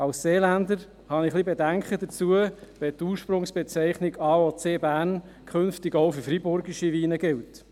Als Seeländer habe ich ein wenig Bedenken, wenn die Ursprungsbezeichnung «AOC Bern» künftig auch für freiburgische Weine gilt.